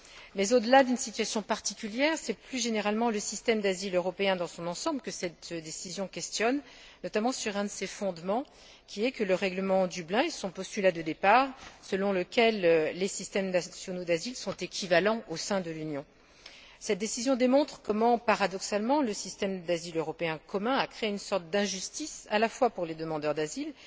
Mais au delà d'une situation particulière, c'est plus généralement le système d'asile européen dans son ensemble que cette décision remet en question, notamment sur un de ses fondements, qui est le règlement de Dublin et son postulat de départ, selon lequel les systèmes nationaux d'asile sont équivalents au sein de l'Union. Cette décision démontre comment, paradoxalement, le système d'asile européen commun a créé une sorte d'injustice à la fois pour les demandeurs d'asile